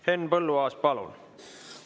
Henn Põlluaas, palun!